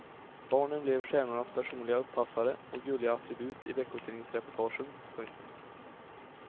Barnen blev stjärnornas personliga uppassare och gulliga attribut i veckotidningsreportagen. punkt